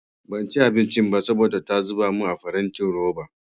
Banci abincin ba saboda ta zuba min a farantin roba.